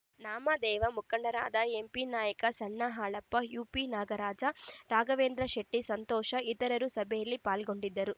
ನಾಮದೇವ ಮುಖಂಡರಾದ ಎಂಪಿನಾಯ್ಕ ಸಣ್ಣ ಹಾಲಪ್ಪ ಯುಪಿನಾಗರಾಜ ರಾಘವೇಂದ್ರಶೆಟ್ಟಿಸಂತೋಷ ಇತರರು ಸಭೆಯಲ್ಲಿ ಪಾಲ್ಗೊಂಡಿದ್ದರು